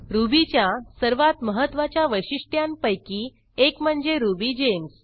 रुबीच्या सर्वात महत्वाच्या वैशिष्ट्यांपैकी एक म्हणजे रुबिगेम्स